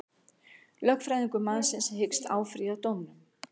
Lögfræðingur mannsins hyggst áfrýja dómnum